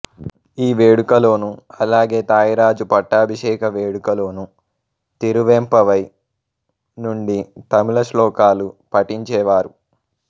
ఈ వేడుకలోను అలాగే థాయ్ రాజు పట్టాభిషేక వేడుకలోనూ తిరువెంపవై నుండి తమిళ శ్లోకాలు పఠించేవారు